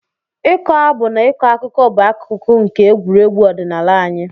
Ịkọ abụ na ịkọ akụkọ bụ akụkụ nke egwuregwu ọdịnala anyị.